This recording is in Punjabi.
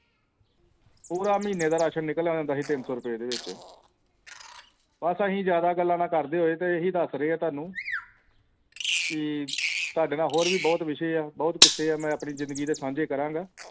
ਪੂਰਾ ਮਹੀਨੇ ਦਾ ration ਨਿਕਲ ਆਉਂਦਾ ਹੁੰਦਾ ਸੀ ਤਿੰਨ ਰੁਪਈਆ ਦੇ ਵਿਚ ਬਸ ਅਸੀ ਜਾਦਾ ਗੱਲਾ ਨਾ ਕਰਦੇ ਹੋਏ ਅਸੀਂ ਇਹੀ ਦਸ ਰਹੀ ਹਾਂ ਤੁਹਾਨੂੰ ਕਿ ਤੁਹਾਡੇ ਨਾਲ ਹੋਰ ਵੀ ਬਹੁਤ ਵਿਸ਼ਾ ਹੈ ਬਹੁਤ ਕਿਸੇ ਹੈ ਮੈਂ ਆਪਣੀ ਜ਼ਿੰਦਗੀ ਦੇ ਸਾਂਝੇ ਕਰਾਂਗਾ